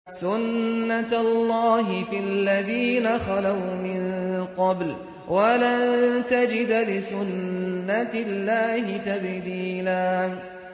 سُنَّةَ اللَّهِ فِي الَّذِينَ خَلَوْا مِن قَبْلُ ۖ وَلَن تَجِدَ لِسُنَّةِ اللَّهِ تَبْدِيلًا